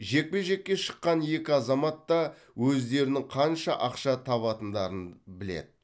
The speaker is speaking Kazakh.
жекпе жекке шыққан екі азамат та өздерінің қанша ақша табатындарын біледі